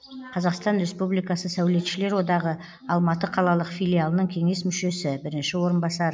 қазақстан республикасы сәулетшілер одағы алматы қалалық филиалының кеңес мүшесі бірінші орынбасар